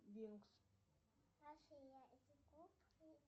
винкс